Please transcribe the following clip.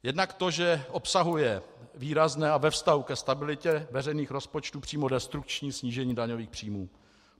Jednak to, že obsahuje výrazné a ve vztahu ke stabilitě veřejných rozpočtů přímo destrukční snížení daňových příjmů.